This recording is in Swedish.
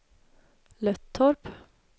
Löttorp